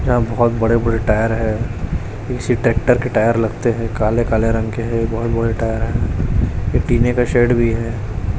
यहाँ बहोत बड़े-बड़े टायर है किसी ट्रैक्टर के टायर लगते है काले-काले रंग के है बहोत बड़े टायर है एक टिने का शेड भी है।